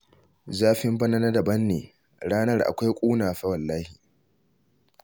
Zafin bana na daban ne, ranar akwai ƙuna fa wallahi!